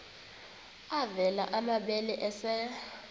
avela amabele esel